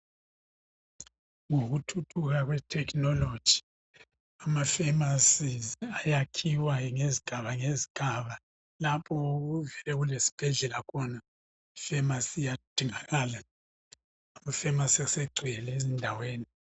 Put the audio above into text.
Ngokuthuthuka kwe"technology" ama"pharmacies"ayakhiwa ngezigaba ngezigaba. Lapho okulezibhedlela khona ,i"pharmacy" iyadingakala. Ama"pharmacy" asegcwele ezindaweni.